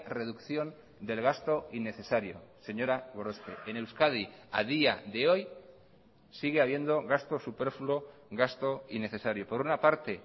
reducción del gasto innecesario señora gorospe en euskadi a día de hoy sigue habiendo gasto superfluo gasto innecesario por una parte